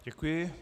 Děkuji.